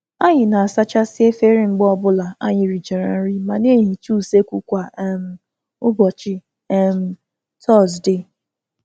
Anyị na - asachasị efere mgbe ọ bụla anyị richara nri ma na-ehicha useekwu kwa um ụbọchị um Tọzdee